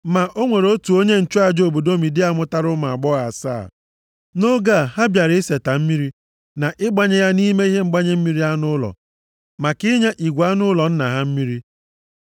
Ma o nwere otu onye nchụaja obodo Midia mụtara ụmụ agbọghọ asaa. Nʼoge a, ha bịara iseta mmiri na ịgbanye ya nʼime ihe ịgbanye mmiri anụ ụlọ maka inye igwe anụ ụlọ nna ha mmiri.